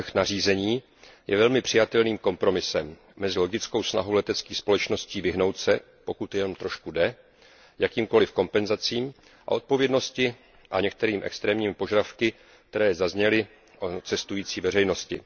Návrh nařízení je velmi přijatelným kompromisem mezi logickou snahou leteckých společností vyhnout se, pokud to jenom trošku jde, jakýmkoliv kompenzacím a odpovědnosti a některými extrémními požadavky, které zazněly u cestující veřejnosti.